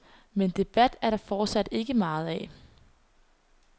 Men debat er der fortsat ikke meget af.